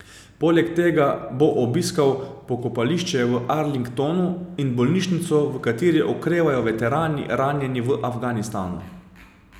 Poleg tega bo obiskal pokopališče v Arlingtonu in bolnišnico, v kateri okrevajo veterani, ranjeni v Afganistanu.